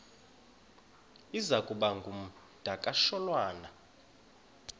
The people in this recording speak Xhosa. iza kuba ngumdakasholwana